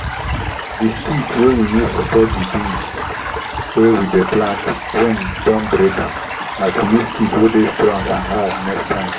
the stick wey we use support the beans wey we plant wind don break am—na to use stick wey dey stong and hard next time.